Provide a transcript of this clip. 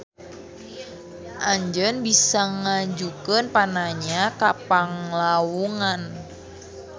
Anjeun bisa ngajukeun pananya ka Panglawungan